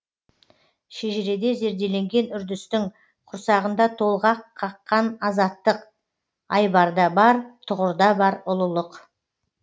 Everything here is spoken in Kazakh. шежіреде зерделенген үрдістің құрсағында толғақ қаққан азаттық айбарда бар тұғырда бар ұлылық